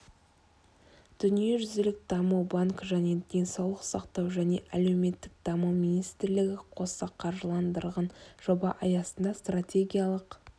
дүниежүзілік даму банкі және денсаулық сақтау және әлеуметтік даму министрлігі қоса қаржыландырған жоба аясында стратегиялық